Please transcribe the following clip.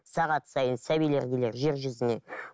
сағат сайын сәбилер келер жер жүзіне